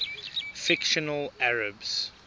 fictional arabs